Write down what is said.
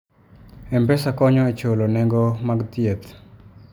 M-Pesa konyo e chulo nengo mag thieth.